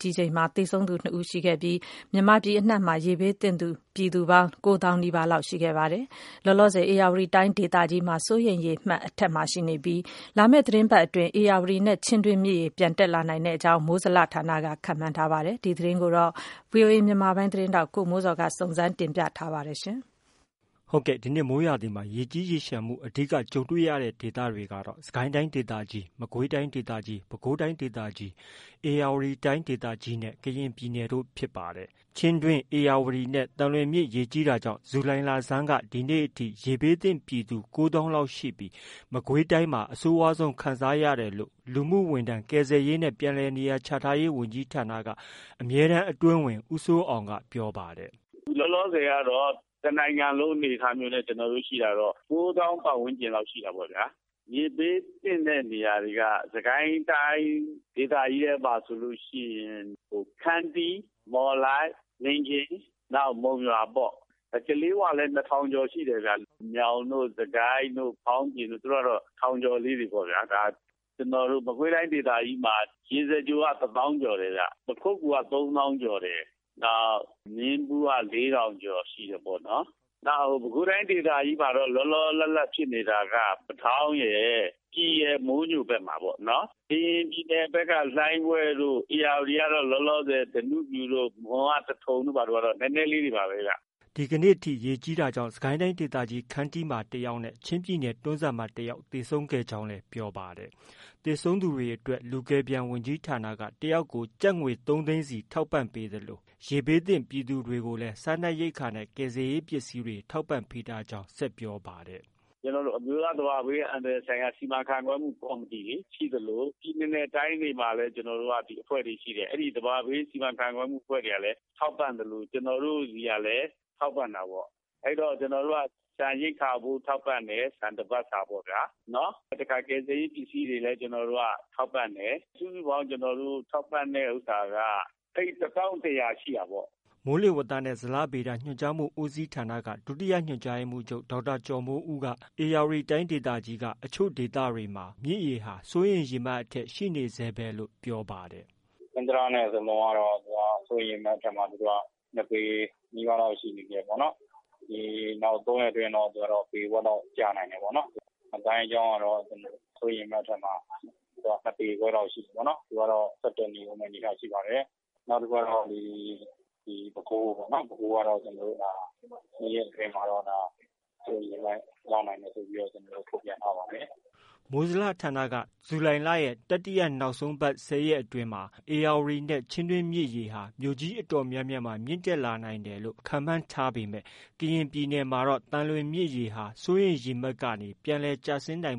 ကြီးချိန်မှာ သေဆုံးသူ ၂ဦးရှိခဲ့သလိုမြန်မာပြည်အနှံ့မှာ ရေဘေးသင့်ပြည်သူ ၉သောင်းနီးပါးလောက်ရှိခဲ့ပြီး ပါတယ်။ လောလောဆည် ဧရာဝတီတိုင်းဒေသကြီးမှာ စိုးရိမ်ရေမှတ် အထက်မှာ ရှိနေသလို လာမယ့်သီတင်းပတ်အတွင်းမှာ ဧရာဝတီနဲ့ ချင်းတွင်းမြစ်ရေပြန်တက်နိုင်ကြောင်း မိုးဇလဌာနက ခန့်မှန်းထားပါတယ်။ ဒီသတင်းကို ဗွီအိုအေမြန်မာပိုင်းရဲ့သတင်းထောက် ကိုမိုးဇော်က တင်ပြထားပါတယ်။ ဒီနှစ် မိုးရာသီမှာ ရေကြီးရေလျံမှု အဓိက ကြုံတွေ့ခဲ့ရတဲ့ဒေသတွေကတော့ စစ်ကိုင်းတိုင်းဒေသကြီး၊ မကွေးတိုင်းဒေသကြီး၊ ပဲခူးတိုင်းဒေသကြီး၊ ဧရာဝတီတိုင်းဒေသကြီးနဲ့ ကရင်ပြည်နယ်တို့ဖြစ်ပါတယ်။ ချင်းတွင်း၊ ဧရာဝတီနဲ့ သံလွင်မြစ်ရေကြီးတာကြောင့် ဇူလိုင်လဆန်းက ဒီနေ့အချိန်ထိ ရေဘေးသင့်ပြည်သူ ၉သောင်းလောက် ရှိပြီး မကွေးတိုင်းမှာ အဆိုးဝါးဆုံးခံစားရတယ်လို့လူမှုဝန်ထမ်း၊ ကယ်ဆယ်ရေးနဲ့ ပြန်လည်နေရာချထားရေး ဝန်ကြီးဌာနက အမြဲတမ်းအတွင်းဝန် ဦးစိုးအောင်က ပြောပါတယ်။ “လောလောဆည်ကတော့ တနိုင်ငံလုံးအနေအထားနဲ့ ရှိတာက ၉သောင်း ပတ်ဝန်းကျင်လောက်ရှိတာပေါ့။ ရေဘေးသင့်တဲ့ နေရာတွေက စစ်ကိုင်းတိုင်းဒေသကြီးမှာဆိုရင် ခန္တီး၊ မော်လိုက်၊ မင်းကင်း၊ နောက် မုံရွာပေါ့။ ကလေးဝလည်း ၂ထောင်ကျော်ရှိတယ်ဗျ။ မြောင်တို့၊ စစ်ကိုင်းတို့၊ ဖောင်းပြင်တို့ကတော့ ထောင်ကျော်လေးတွေပေါ့ဗျာ။ မကွေးတိုင်းဒေသကြီးမှာ ရေစကြိုက တစ်သောင်းကျော်တယ်။ ပခုက္ကူက ၃သောင်းကျော်တယ်။ မင်းဘူးက ၄ထောင်ကျော်ရှိတယ်ပေါ့။ ပဲခူးတိုင်းဒေသကြီးမှာတော့ လောလော လတ်လတ်ဖြစ်နေတာက ပတောင်းရယ်၊ ပြည်ရယ်၊ မိုးညိုဖက်မှာပေါ့။ ကရင်ပြည်နယ်ဖက်က လှိုင်းဘွဲ့တို့ ဧရာဝတီက ဓနုဖြူတို့ မွန်က သထုံတို့ဘာတို့ကတော့ နည်းနည်းလေးတွေပါပဲ။” ဒီကနေ့ထိ ရေကြီးတာကြောင့် စစ်ကိုင်းဒေသကြီး ခန္တီးမှာတယောက်နဲ့ချင်းပြည်နယ် တွန်းဇံမှာတယာက် သေဆုံးခဲ့ကြောင်း ပြောပါတယ်။ သေဆုံးသူတွေအတွက် လူ ကယ်ပြန် ဝန်ကြီးဌာနက တယောက်ကို ကျပ် ၃သိန်းစီထောက်ပံပေးသလို ရေဘေးသင့်ပြည်သူတွေကိုလည်း စားနပ်ရိက္ခာနဲ့ ကယ်ဆယ်ရေးပစ္စည်းတွေ ထောက်ပံ့ထားကြောင်းလည်း ဆက်ပြောပါတယ်။ “ကျနော်တို့ အမျိုးသားသဘာဝဘေးအန္တရာယ်ကာကွယ်ရေးဆိုင်ရာ စီမံခန့်ခွဲမှုကော်မတီ ရှိသလို ပြည်နယ်နဲ့ တိုင်းဒေသကြီးတွေမှာလည်း အဲဒီအဖွဲ့တွေရှိတယ်။ အဲဒီ သဘာဝဘေးစီမံခန့်ခွဲမှု ကော်မတီတွေကလည်း ထောက်ပံ့သလို ကျနော်တို့ ဆီကလည်း ထောက်ပံ့တာပေါ့။ ကျနော်တို့က ဆန်ရိက္ခာဖိုးထောက်ပံ့တယ်။ တပတ်စာပေါ့။ ကယ်ဆယ်ရေးပစ္စည်းတွေလည်း ထောက်ပံ့တယ်။ စုစုပေါင်း ကျနေ်ာတို့ ထောက်ပံ့တဲ့ဟာက သိန်း တသောင်း တရာရှိတာပေါ့။” မိုးလေဝသနဲ့ ဇလဗေဒညွှန်ကြားမှုဦးစီးဌာနက ဒုတိယညွှန်ကြားရေးမှုးချုပ် ဒေါက်တာ ကျော်မိုးဦးက ဧရာဝတီတိုင်းအချို့ ဒေသတွေမှာ မြစ်ရေဟာ စိုးရိမ်ရေမှတ်အထက်ရှိနေဆဲပဲလို့ ပြောပါတယ်။ “ဟင်္သာတနဲ့ ဇလွန်ကတော့ စိုးရိမ်ရေမှတ်အထက်မှာ ၂ပေနီးပါး ရှိနေသေးတာပေါ့။ ၃ရက်လောက်အတွင်းတော့ ပေဝက်လောက်ကျနိုင်တယ်ပေါ့။ ငါးသိုင်းချောင်းကတော့ စိုးရိမ်ရေမှတ်အထက်မှာ ၂ပေခွဲလောက်ရှိနေတယ်။ သူကတော့ ဆက်တက်နေအုံးမယ့် အနေအထားရှိပါတယ်။ နောက် ပဲခူးကတော့ ၂ရက်အတွင်းမှာ စိုးရိမ်ရေမှတ် ရောက်နိုင်တယ်လို့ ထုတ်ပြန်ထားပါတယ်။” မိုးဇလ ဌာနက ဇူလိုင်လရဲ့တတိယနောက်ဆုံးပတ် ၁၀ရက်အတွင်းမှာ ဧရာဝတီနဲ့ ချင်းတွင်းမြစ်ရေဟာ မြို့ကြီးအတော်များများ ထပ်မံမြင့်တက်လာနိုင်တယ်လို့ ခန့်မှန်းထားပေမဲ့ ကရင်ပြည်နယ်မှာတော့ သံလွင်မြစ်ရေဟာ စိုးရိမ်ရေမှတ်ကနေ ပြန်လည် ကျဆင်းနိုင်